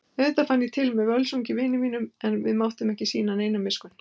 Auðvitað fann ég til með Völsungs vinum mínum en við máttum ekki sýna neina miskunn.